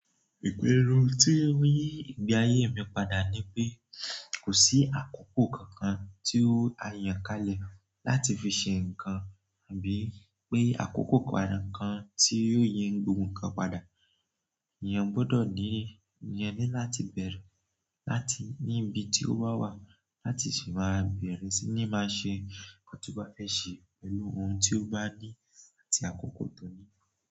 Ìgbérú tí ń yí ìgbé ayé mi padà ni pé kò sí àkókò kankan tí ó a yàn ká lẹ̀ láti fi ṣe nǹkan àbí pé àkókò padà kan tí yóò yí gbogbo ǹkan padà. Èèyàn gbọ́dọ̀ ní, èèyàn ní láti bẹ̀rù láti ní ibi tí ó bá wà láti ṣi máa bẹ̀rẹ̀ sí ní máa ṣe nkan ti o ba fe ṣe pẹ̀lú ohun tí ó bá ní àti àkókò tó ní.